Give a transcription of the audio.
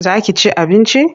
Za ki ci abinci?